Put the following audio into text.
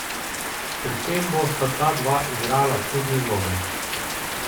Pri tem bosta ta dva igrala čudni vlogi.